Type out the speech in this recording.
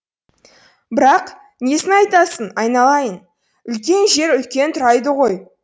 бірақ несін айтасың айналайын үлкен жер үлкен турайды ғой